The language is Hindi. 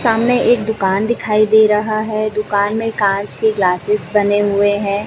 सामने एक दुकान दिखाई दे रहा हैं दुकान में कांच के ग्लासेस बने हुए हैं।